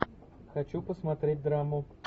хочу посмотреть драму